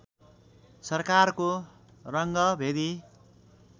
सरकारको रङ्गभेदी